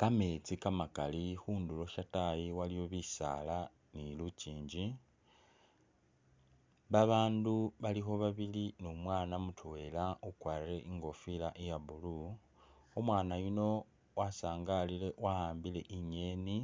Kamesti kamakali khunduro shatayi khulikho bisala ni lukyinji, babandu balikho babili ni umwana mutwela ukwarire ingofila iya blue umwana yuno wasangalile waambile inyeni